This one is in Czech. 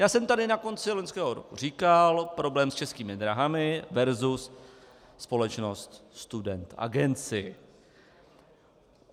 Já jsem tady na konci loňského roku říkal problém s Českými dráhami versus společnost Student Agency.